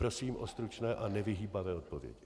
Prosím o stručné a nevyhýbavé odpovědi.